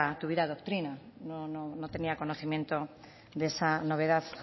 tuviera doctrina no tenía conocimiento de esa novedad